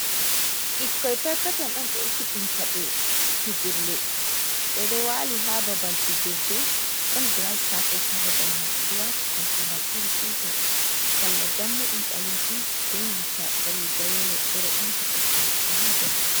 Ɓikkoi perpetel on ɓe ekkitinta ɓe fijirle. Ɓe ɗo waali haa babal fijirde. Ɗon gras kapet haa babal mai. Ɓe ɗo waati koltungal iri gotel, salla dammuɗum ɓalejum be nanta riga yelo, ɓe ɗo ɓamti kosɗe maɓɓe haa dou.